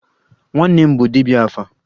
Nwanne nna m bụ dibia 'afa'